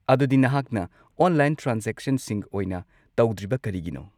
ꯑꯗꯨꯗꯤ, ꯅꯍꯥꯛꯅ ꯑꯣꯟꯂꯥꯏꯟ ꯇ꯭ꯔꯥꯟꯖꯦꯛꯁꯟꯁꯤꯡ ꯑꯣꯏꯅ ꯇꯧꯗ꯭ꯔꯤꯕ ꯀꯔꯤꯒꯤꯅꯣ?